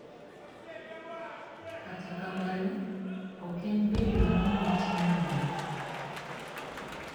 Kata kamano, ok en bedo ni nitie lweny .